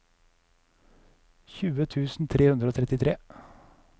tjue tusen tre hundre og trettitre